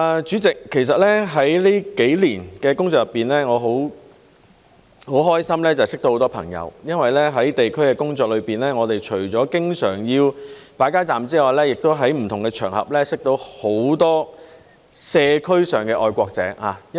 主席，其實在這數年的工作中，我很開心認識到很多朋友，因為在地區工作中，我們除了經常要擺街站之外，亦在不同場合認識到很多社區上的愛國者。